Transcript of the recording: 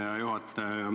Hea juhataja!